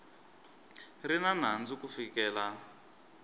ri na nandzu ku fikela